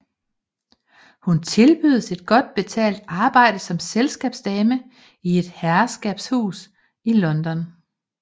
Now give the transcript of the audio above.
Hun tilbydes et godt betalt arbejde som selskabsdame i et herskabshus i London